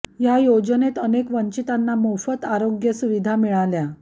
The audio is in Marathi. या योजनेत अनेक वंचितांना मोफत आरोग्य सुविधा मिळाल्या